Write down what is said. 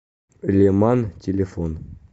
леман телефон